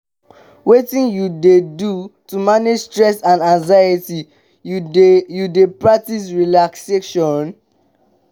wetin you dey do to manage stress and anxiety you dey you dey practice relaxation?